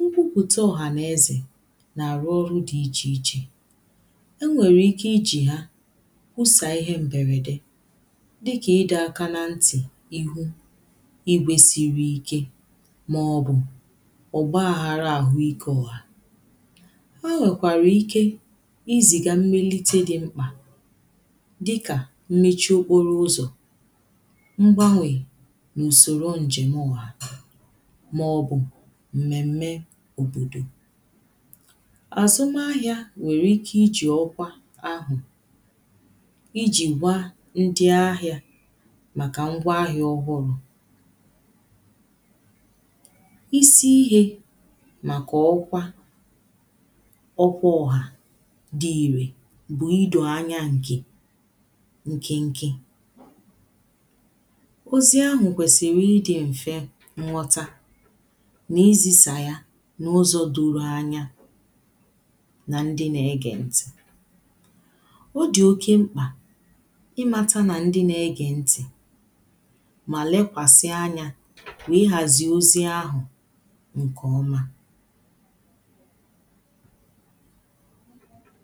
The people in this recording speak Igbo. nkwuputa ọhanaeze na-arụ ọrụ dị iche ichē e nwereike iji ha kwusaa ihe mberedē dịka ịdọ aka na ntị̀ ihu igwe siri ike maọbụ̀ ọgbaghara aɦụike ọhā e nwekwara ike iziga mmilite dị ḿkpà dịka nyichi okporo ụzọ mgbanwē na usoro njem ọhā maọbụ̀ mmeme obodo azụmahịa nwereike ichi ọkwa ahụ iji gwaa ndị ahịa maka ngwa ahịa ọhụrụ isi ihe maka ọkwa ọkwa ọhā dị irē bụ ido anya nke nkịnkị ozi ahụ kwesiri ịdị mfe nghọta na izisa ya na ụzọ doro anya na ndị na-ege ntị ọ dị oke mkpà ịmata na ndị na-ege ntị ma lekwasịa anya na ịhazi ozi ahụ nke ọmā